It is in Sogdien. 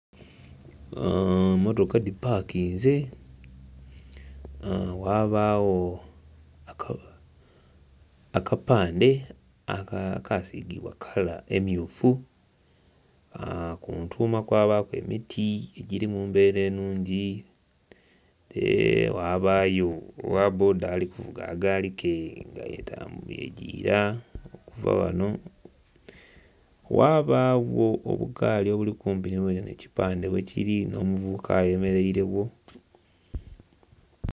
Mmotoka dhipakinze, ghabagho akapandhe akaasigibwa kala emmyufu, ku ntuuma kwabaaku emiti egiri mu mbeera ennhungi, ghabayo ogha bboda ali kuvuga akagaali ke nga yegiira okuva ghanho. Ghabagho obugaali obuli kumpi ghenhe ekipandhe ghekiri nh'omuvubuka ayemereiregho.